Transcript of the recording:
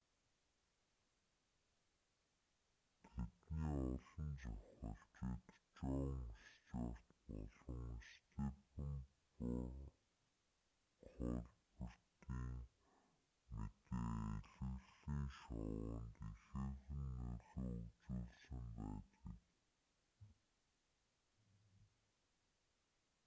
тэдний олон зохиолчид жон стьюарт болон степен колбертын мэдээ элэглэлийн шоунд ихээхэн нөлөө үзүүлсэн байдаг